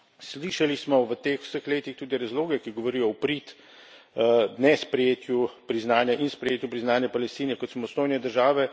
Slišali smo v teh vseh letih tudi razloge, ki govorijo v prid nesprejetju priznanja in sprejetju priznanja Palestine kot samostojne države.